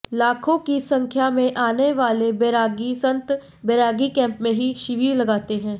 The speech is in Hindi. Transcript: लाखों की संख्या में आने वाले बैरागी संत बैरागी कैंप में ही शिविर लगाते हैं